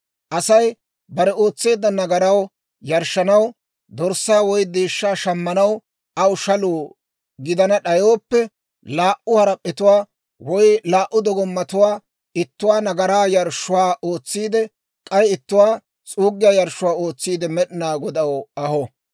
« ‹Asay bare ootseedda nagaraw yarshshanaw, dorssaa woy deeshshaa shamanaw aw shaluu gidana d'ayooppe, laa"u harap'p'etuwaa, woy laa"u dogomattuwaa, ittuwaa nagaraa yarshshuwaa ootsiide, k'ay ittuwaa s'uuggiyaa yarshshuwaa ootsiide Med'inaa Godaw aho.